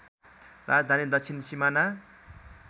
राजधानी दक्षिण सिमाना